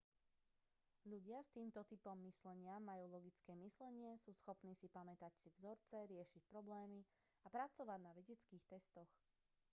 ľudia s týmto typom myslenia majú logické myslenie sú schopní si pamätať si vzorce riešiť problémy a pracovať na vedeckých testoch